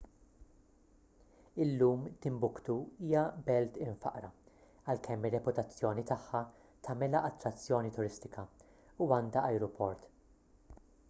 illum timbuktu hija belt imfaqqra għalkemm ir-reputazzjoni tagħha tagħmilha attrazzjoni turistika u għandha ajruport